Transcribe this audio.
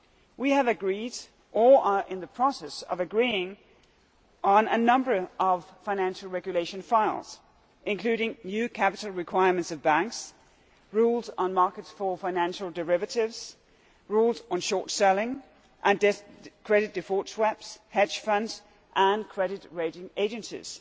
We have agreed, or are in the process of agreeing, on a number of financial regulation files, including new capital requirements of banks, rules on markets for financial derivatives, rules on short selling and credit default swaps, hedge funds and credit rating agencies.